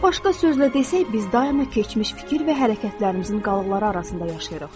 Başqa sözlə desək, biz daima keçmiş fikir və hərəkətlərimizin qalıqları arasında yaşayırıq.